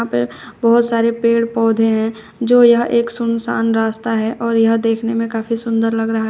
पर बहुत सारे पेड़ पौधे हैं जो यह एक सुनसान रास्ता है और यह देखने में काफी सुंदर लग रहा--